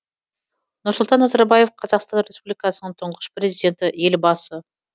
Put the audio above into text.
нұрсұлтан назарбаев қазақстан республикасының тұңғыш президенті елбасы